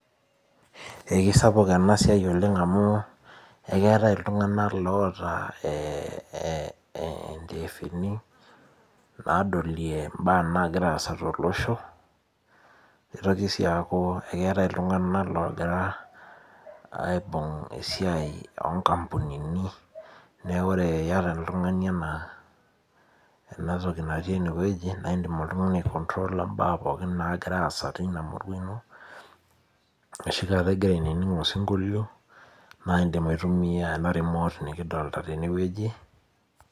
Ee kisapuk ena siai oleng' amu eketae iltung'ana loota ndiefuni nadolie ibaa nagira aasa tolosho nitoki sii aku ketae iltung'ana logira aibung' esiai oo nkampunini neeku ore iata oltung'ani ena toki naati eneweji naa idim oltung'ani ai control a ibaa pokin nagira asa tina murua ashu ainining' osinkolio naa idim aitumia ena remote nikidolita teneweji.